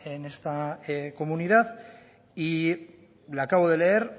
en esta comunidad y le acabo de leer